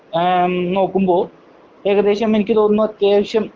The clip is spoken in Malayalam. ഏം നോക്കുമ്പോൾ ഏകദേശം എനിക്ക് തോന്നുന്നു അത്യാവശ്യം